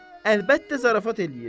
Əlbəttə zarafat eləyir.